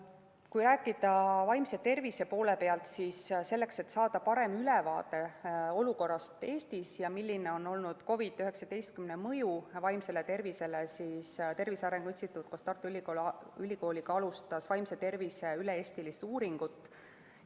Kui rääkida vaimse tervise poole pealt, siis selleks, et saada parem ülevaade olukorrast Eestis ja sellest, milline on olnud COVID‑19 mõju vaimsele tervisele, alustas Tervise Arengu Instituut koos Tartu Ülikooliga vaimse tervise üle-eestilist uuringut.